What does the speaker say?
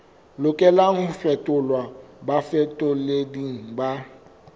lokelang ho fetolelwa bafetoleding ba